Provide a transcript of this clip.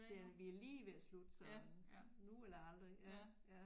Det er vi er lige ved at slutte så nu eller aldrig ja ja